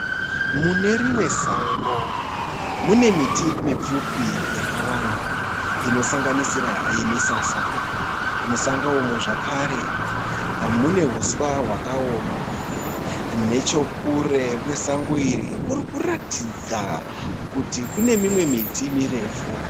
Munerimwe sango mune miti mipfupi yakawanda inosangisira yemisasa. Musango umu zvekare mune huswa hwakaoma nechekure kwasango iri kurikuratidza kuti kunemimwe miti mirefu.